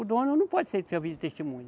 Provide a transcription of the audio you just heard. O dono não pode ser, servir de testemunha.